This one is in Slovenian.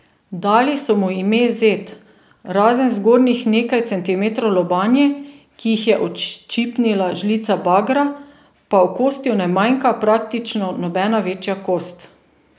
Dali so mu ime Zed, razen zgornjih nekaj centimetrov lobanje, ki jih je odščipnila žlica bagra, pa okostju ne manjka praktično nobena večja kost.